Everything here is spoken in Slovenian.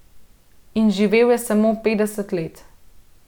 In živel je samo petdeset let.